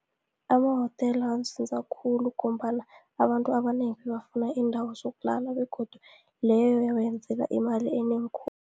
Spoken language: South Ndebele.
Amahotela amsiza khulu, ngombana abantu abanengi bebafuna iindawo zokulala, begodu leyo yabeyenzela imali enengi khulu.